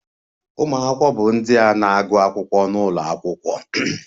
Ụmụ akwụkwọ bụ ndị a na-agụ akwụkwọ n'ụlọ akwụkwọ